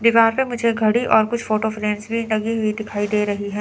दीवार पे मुझे घड़ी और कुछ फोटो फ्रेम भी लगी हुई दिखाई दे रही हैं।